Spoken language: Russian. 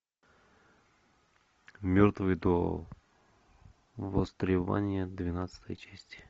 мертвые до востребования двенадцатая часть